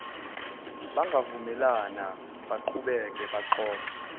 bangavumelana baqhubeke baxoxe